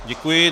Děkuji.